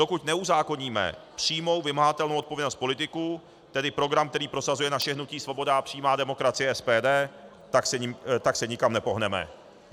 Dokud neuzákoníme přímou vymahatelnou odpovědnost politiků, tedy program, který prosazuje naše hnutí Svoboda a přímá demokracie, SPD, tak se nikam nepohneme.